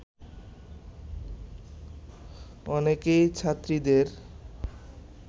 অনেকেই ছাত্রীদের